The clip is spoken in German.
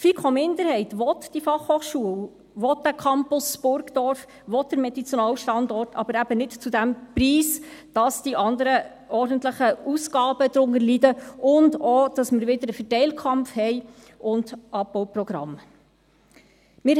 Die FiKo-Minderheit will diese Fachhochschule, will diesen Campus Burgdorf, will den Medizinalstandort, aber eben nicht zu diesem Preis, dass die anderen ordentlichen Ausgaben darunter leiden und auch, dass wir wieder einen Verteilkampf und Abbauprogramme haben.